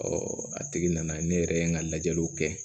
a tigi nana ne yɛrɛ ye n ka lajɛliw kɛ